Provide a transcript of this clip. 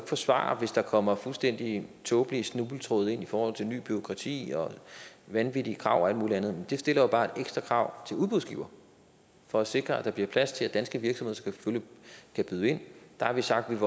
forsvare hvis der kommer fuldstændig tåbelige snubletråde ind i forhold til nyt bureaukrati og vanvittige krav og alt muligt andet det stiller jo bare et ekstra krav til udbudsgiver for at sikre at der bliver plads til at danske virksomheder selvfølgelig kan byde ind der har vi sagt at